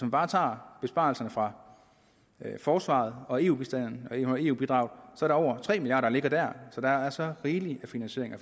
bare tager besparelserne fra forsvaret og eu bidraget er det over tre milliard ligger der så der er så rigelig af finansiering at